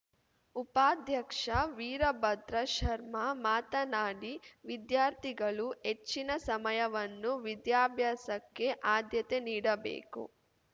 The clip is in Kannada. ಉಪಾಧ್ಯಕ್ಷ ವೀರಭದ್ರ ಶರ್ಮಾ ಮಾತನಾಡಿ ವಿದ್ಯಾರ್ಥಿಗಳು ಹೆಚ್ಚಿನ ಸಮಯವನ್ನು ವಿದ್ಯಾಭ್ಯಾಸಕ್ಕೆ ಆದ್ಯತೆ ನೀಡಬೇಕು